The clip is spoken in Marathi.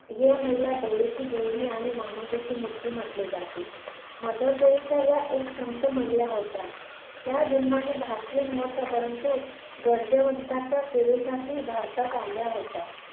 हे महिला दयेची देवी आणि मानवतेची मूर्ती म्हटली जाते. मदर टेरेसा या एक संत महिला होत्या. त्या जन्माने भारतीय नव्हत्या, परंतु गरजेवंतांच्या सेवेसाठी भारतात आल्या होत्या.